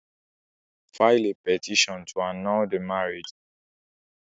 File a petition to annul the marriage, Ayo.